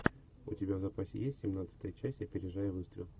у тебя в запасе есть семнадцатая часть опережая выстрел